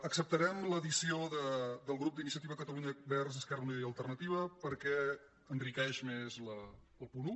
acceptarem l’addició del grup d’iniciativa per cata·lunya verds · esquerra unida i alternativa perquè en·riqueix més el punt un